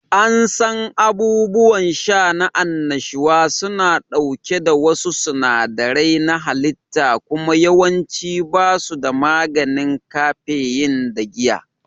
An san abubuwan sha na annashuwa suna ɗauke da wasu sinadarai na halitta kuma yawanci ba su da maganin kafeyin da giya